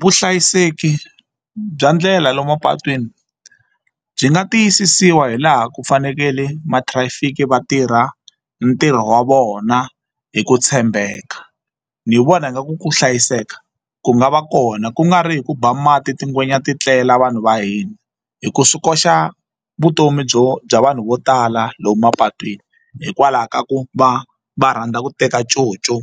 Vuhlayiseki bya ndlela lomu mapatwini byi nga tiyisisiwa hi laha ku fanekele matrafiki va tirha ntirho wa vona hi ku tshembeka ni vona nga ku hlayiseka ku nga va kona ku nga ri hi ku ba mati tingwenya ti etlela vanhu va hina hi ku swi koxa vutomi byo bya vanhu vo tala lomu mapatwini hikwalaho ka ku va va rhandza ku teka coco